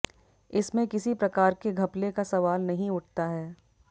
इसमें किसी प्रकार के घपले का सवाल नहीं उठता है